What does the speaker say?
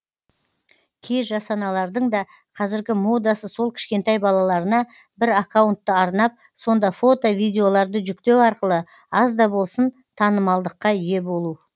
кей жас аналардың да қазіргі модасы сол кішкентай балаларына бір аккаунтты арнап сонда фото видеоларды жүктеу арқылы аз да болсын танымалдылыққа ие болу